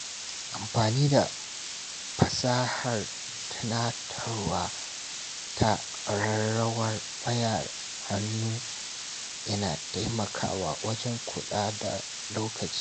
Amfani da fasahar tunatarwa ta ƙararrawar wayar hannu yana taimakawa wajen kula da lokaci.